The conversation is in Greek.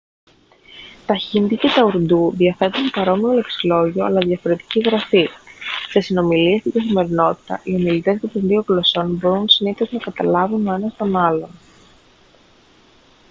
τα χίντι και τα ουρντού διαθέτουν παρόμοιο λεξιλόγιο αλλά διαφορετική γραφή σε συνομιλίες στην καθημερινότητα οι ομιλητές και των δύο γλωσσών μπορούν συνήθως να καταλάβουν ο ένας τον άλλον